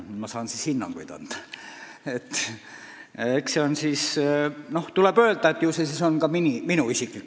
Ma saan vaid hinnanguid anda ja tegu on tõesti minu isikliku arvamusega.